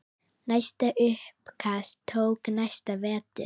Næsta uppkast tók næsta vetur.